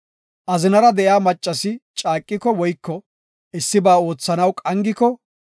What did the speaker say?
“Azinara de7iya maccasi caaqiko woyko issiba oothanaw qangiko,